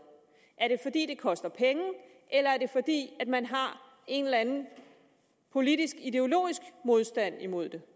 er det fordi det koster penge eller er det fordi man har en eller anden politisk ideologisk modstand mod det